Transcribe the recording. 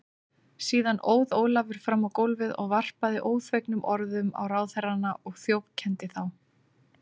Síðan óð Ólafur fram á gólfið og varpaði óþvegnum orðum á ráðherrana og þjófkenndi þá.